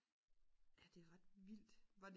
ja det er ret vildt